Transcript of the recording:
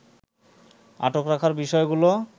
আটক রাখার বিষয়গুলো